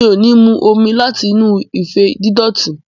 Mi ò ní mu omi láti inú ife dídòtí.